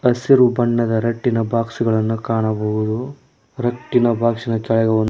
ಹಸಿರು ಬಣ್ಣದ ರಟ್ಟಿನ ಬಾಕ್ಸ್ ಗಳನು ಕಾಣಬಹುದು ರಟ್ಟಿನ ಬಾಕ್ಸ್ನಕೆಳಗೆ ಒಂದ್--